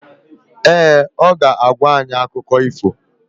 Ee, ọ ga-agwa anyị akụkọ ifo